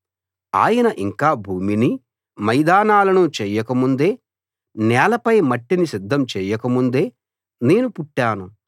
ఆయన ఇంకా భూమినీ మైదానాలనూ చేయకముందే నేలపై మట్టిని సిద్ధం చేయకముందే నేను పుట్టాను